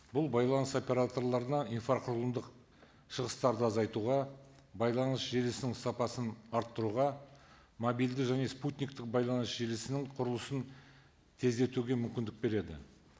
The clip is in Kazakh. бұл байланыс операторларына инфрақұрылымдық шығыстарды азайтуға байланыс желісінің сапасын арттыруға мобильді және спутниктік байланыс желісінің құрылысын тездетуге мүмкіндік береді